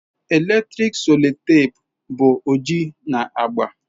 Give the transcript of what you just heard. Eletrik sellotape bụ oji na agba.